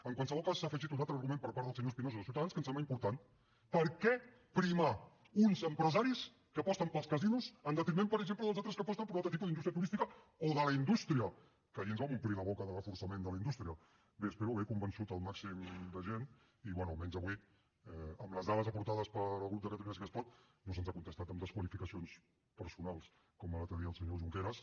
en qualsevol cas s’ha afegit un altre argument per part del senyor espinosa de ciutadans que em sembla important per què primar uns empresaris que aposten pels casinos en detriment per exemple dels altres que aposten per un altre tipus d’indústria turística o de la indústria que ahir ens vam omplir la boca de reforçament de la indústria bé espero haver convençut el màxim de gent i bé almenys avui amb les dades aportades pel grup de catalunya sí que es pot no se’ns ha contestat amb desqualificacions personals com l’altre dia el senyor junqueras